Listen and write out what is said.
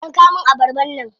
Yanka min abarbar nan.